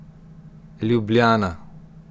Ljubljana.